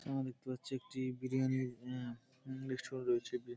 সামনে দেখতে পাচ্ছি একটি বিরিয়ানি -র অ্যাঁ উম রেস্টুরেন্ট রয়েছে। বে--